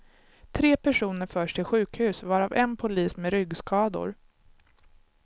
Tre personer förs till sjukhus, varav en polis med ryggskador.